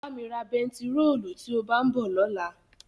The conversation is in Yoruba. Bá mi ra bẹntiróòlù tí ó bá ń bọ̀ lọ́la.